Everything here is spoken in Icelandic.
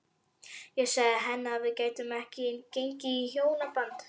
Ég sagði henni að við gætum ekki gengið í hjónaband.